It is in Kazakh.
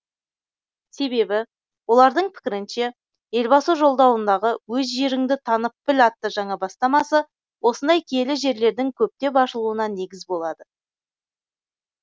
себебі олардың пікірінше елбасы жолдауындағы өз жеріңді танып біл атты жаңа бастамасы осындай киелі жерлердің көптеп ашылуына негіз болады